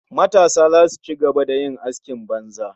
Matasa zasu ci gaba da yin askin banza